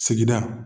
Sigida